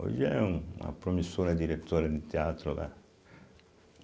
Hoje é uma promissora diretora de teatro lá.